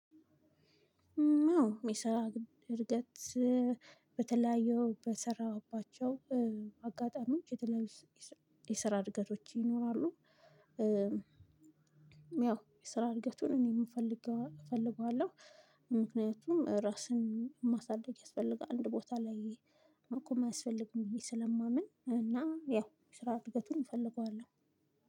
አዎ የሚሰራ እድገት በተለያየው በሰራሁባቸው አጋጣሚዎች የተለያዩ የስራ እድገቶች ይኖራሉ። ያው የስራ እድገቱን እኔም የምፈልገው እፈልገዋለሁ። ምክንያቱም ራስን ማሳደግ ያስፈልጋል አንድ ቦታ ላይ መቆም አያስፈልግም ብዬ ስለማምን። እና ያው የስራ እድገቱን እፈልገዋለሁ።